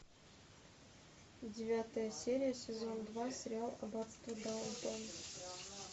девятая серия сезон два сериал аббатство даунтон